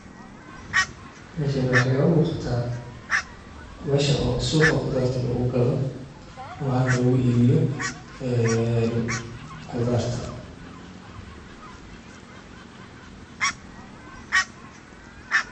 Marka hore qofka u baraya waa inuu fahmaa in tani tahay ganacsi yar oo khudaar iyo miro lagu iibiyo. Waa ganacsi fudud oo dad badan ay ku bilaabaan si ay u helaan dakhli joogto ah. Waxaa muhiim ah in qofka la barayo uu ogyahay sababta ay muhiim u tahay in laga bilaabo meherad fudud sida tan, sida laga yaabo inay keento koboc dhaqaale iyo madax-bannaani shaqo.